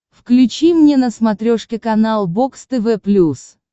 включи мне на смотрешке канал бокс тв плюс